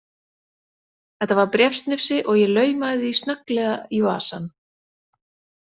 Þetta var bréfsnifsi, og ég laumaði því snögglega í vasann.